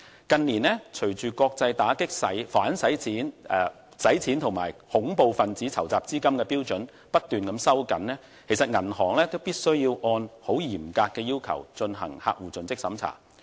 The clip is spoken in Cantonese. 近年隨着國際打擊洗黑錢及恐怖分子籌集資金的標準不斷收緊，銀行必須按照嚴格的要求進行客戶盡職審查。